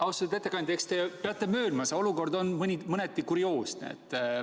Austatud ettekandja, eks te peate möönma, et see olukord on mõneti kurioosne.